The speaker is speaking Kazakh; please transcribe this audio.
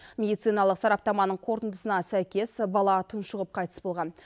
медициналық сараптаманың қорытындысына сәйкес бала тұншығып қайтыс болған